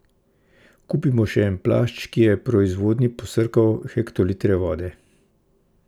Kupimo še en plašč, ki je v proizvodnji posrkal hektolitre vode?